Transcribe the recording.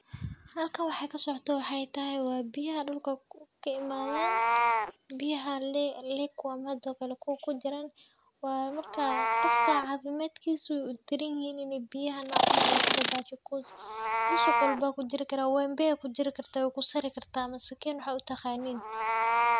Halkan wxay kasocoto wxaythay waa biyaha dulka kaimadan biyaha liquam hadokale kuwa kujiran waa marka cafimadkisa u daranyihin inay biya nocan ay kudabashan coz dusuq walbo kujirikara, wembe kujirikarta waykusarkarta mise sakin sa u taqanin .